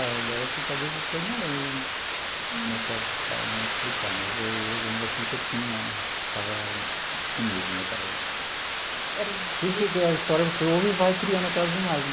Agora assim, de cabeça assim, eu não lembro né, para falar me explicar, mas aí eu lembro assim que eu tinha ficava com medo né daquelas. Era. a história que você ouve e vai criando aquelas imagem.